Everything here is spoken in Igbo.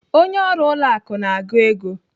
Onye ọrụ ụlọ akụ na-agụ ego.